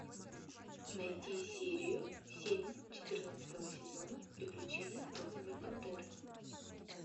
найти серию семь четырнадцатого сезона приключения розовой пантеры